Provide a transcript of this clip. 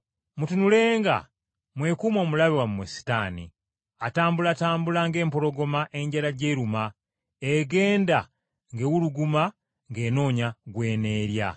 Mutunulenga, mwekuume omulabe wammwe Setaani, atambulatambula ng’empologoma enjala gy’eruma egenda ng’ewuluguma ng’enoonya gw’eneerya.